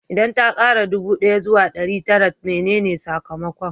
Idan ta kara ɗubu ɗaya zuwa ɗari tara menene sakamakon?